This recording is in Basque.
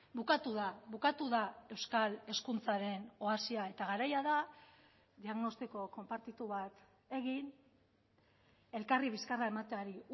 bukatu da bukatu da euskal hezkuntzaren oasia eta garaia da diagnostiko konpartitu bat egin elkarri bizkarra emateari